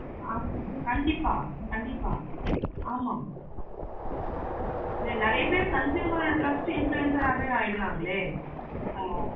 இன்ன ஆஹ் கண்டிப்பா ஆமா ஆமா இதுல நெறைய பேரு consumer trucks influencer ஆஹ் வே மாறிடுறாங்க